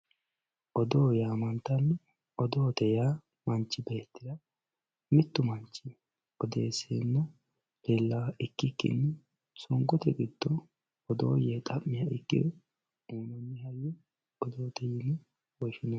Odoo yamantano odoo yaa manchi beetira mittu manchi odeesena leelaha ikiro songote giddo odoo yee xamiha ikiro hatene hajo odoote yine woshinani.